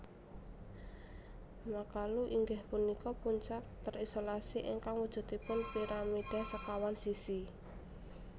Makalu inggih punika puncak terisolasi ingkang wujudipun piramida sekawan sisi